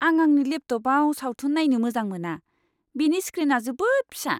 आं आंनि लेपटपआव सावथुन नायनो मोजां मोना। बेनि स्क्रिना जोबोद फिसा।